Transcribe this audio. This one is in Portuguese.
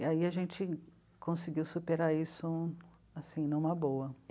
E aí a gente conseguiu superar isso, assim, numa boa.